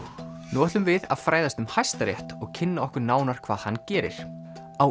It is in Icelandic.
nú ætlum við að fræðast um Hæstarétt og kynna okkur nánar hvað hann gerir á